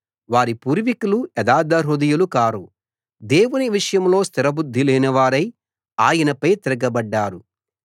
వారి పూర్వికులు యథార్థహృదయులు కారు దేవుని విషయంలో స్థిర బుద్ధి లేనివారై ఆయనపై తిరగబడ్డారు